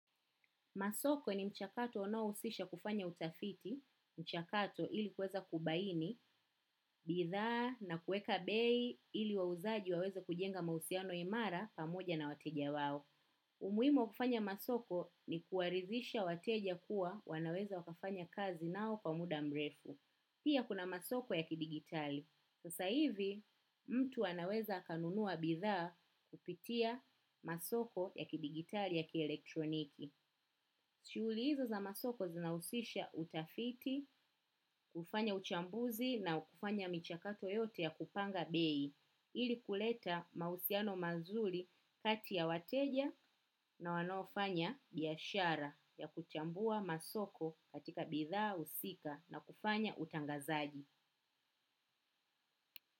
Masoko ni mchakato unaohusisha kufanya utafiti, mchakato ili kueza kubaini, bidhaa na kuweka bei ili wauzaji waweze kujenga mahusiano imara pamoja na wateja wao. Umuhimu wa kufanya masoko ni kuwaridisha wateja kuwa wanaweza wakafanya kazi nao kwa muda mrefu. Pia kuna masoko ya kidigitali. Sasa hivi, mtu anaweza akanunua bidhaa kupitia masoko ya kidigitali ya kielektroniki. Shughuli hizo za masoko zinahusisha utafiti, kufanya uchambuzi na kufanya michakato yote ya kupanga bei, ili kuleta mahusiano mazuri kati ya wateja na wanaofanya biashara ya kuchambua masoko katika bidhaa husika na kufanya utangazaji.